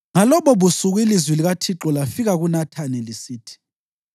Ngalobobusuku ilizwi likaThixo lafika kuNathani, lisithi: